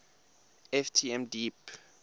ft m deep